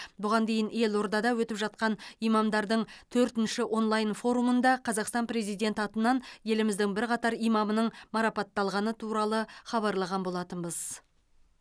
бұған дейін елордада өтіп жатқан имамдардың төртінші онлайн форумында қазақстан президенті атынан еліміздің бірқатар имамының марапатталғаны туралы хабарлаған болатынбыз